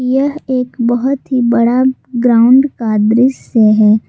यह एक बहुत ही बड़ा ग्राउंड का दृश्य है।